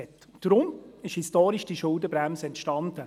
Deswegen ist diese Schuldenbremse historisch entstanden.